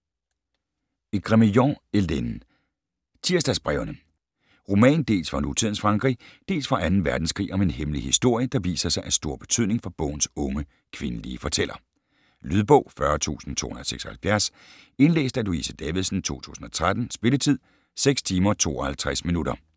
Grémillon, Hélène: Tirsdagsbrevene Roman, dels fra nutidens Frankrig, dels fra 2. verdenskrig om en hemmelig historie, der viser sig af stor betydning for bogens unge kvindelige fortæller. Lydbog 40276 Indlæst af Louise Davidsen, 2013. Spilletid: 6 timer, 52 minutter.